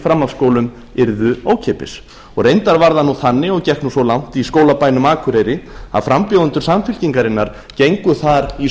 framhaldsskólum yrðu ókeypis reyndar var það þannig og gekk svo langt í skólabænum akureyri að frambjóðendur samfylkingarinnar gengu þar í